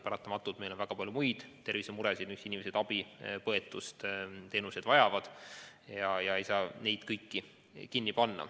Paratamatult on meil väga palju ka teisi tervisemuresid, mille jaoks inimesed abi, põetust ja muid tervishoiuteenuseid vajavad, ja me ei saa seda kõike kinni panna.